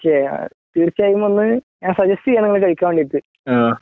okay തീർച്ചയായും വന്ന് ഞാൻ സജസ്റ്റ് ചെയ്യാണ് വന്നു കഴിക്കാൻ വേണ്ടിട്ടു